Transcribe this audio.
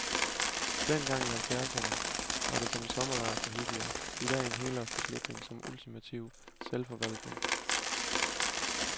Dengang i halvfjerdserne var det en sommerlejr for hippier, i dag en helårsbeslutning om ultimativ selvforvaltning.